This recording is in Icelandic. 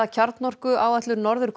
kjarnorkuáætlun Norður